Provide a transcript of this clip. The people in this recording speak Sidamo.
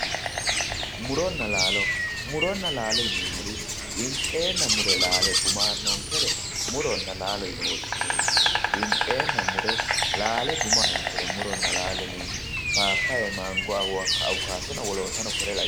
muronna laalo muronna laalo yineemmorii winxeenna mure laale guma aannonkere muronna laalo yine woshshineemmo winxeenna mure laale guma aannonkere muronna laalo yineemmori papaya manago awukaatonna wolootano kore lawinore